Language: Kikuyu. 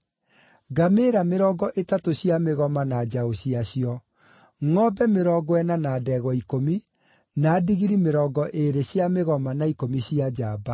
ngamĩĩra mĩrongo ĩtatũ cia mĩgoma na njaũ ciacio, ngʼombe mĩrongo ĩna na ndegwa ikũmi, na ndigiri mĩrongo ĩĩrĩ cia mĩgoma na ikũmi cia njamba.